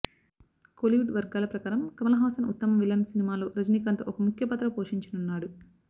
కోలీవుడ్ వర్గాల ప్రకారం కమల్ హాసన్ ఉత్తమ విలన్ సినిమాలో రజినీకాంత్ ఒక ముఖ్యపాత్ర పోషించనున్నాడు